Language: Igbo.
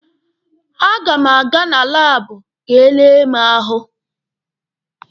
A ga m aga na laabụ ka e lee mụ ahụ.